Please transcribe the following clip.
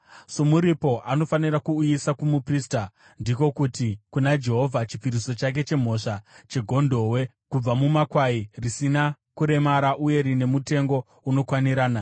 Somuripo anofanira kuuyisa kumuprista, ndiko kuti kuna Jehovha, chipiriso chake chemhosva chegondobwe, kubva mumakwai, risina kuremara uye rine mutengo unokwanirana.